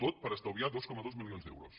tot per estalviar dos coma dos milions d’euros